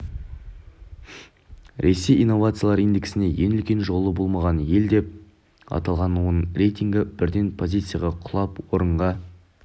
ресей инновациялар индексінде ең үлкен жолы болмаған ел деп аталған оның рейтингі бірден позицияға құлап орынға